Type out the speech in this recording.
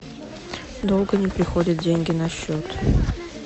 долго не приходят деньги на счет